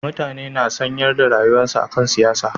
Mutane na sanyar da rayuwarsu akan siyasa